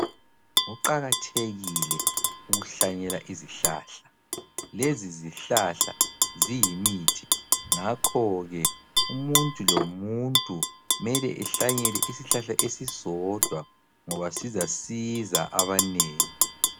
Kuqakathekile ukuhlanyela izihlahla. Lezi zihlahla ziyimithi ngakho ke umuntu lomuntu kumele ehlanyele isihlahla esisodwa ngoba sizasisa abanengi.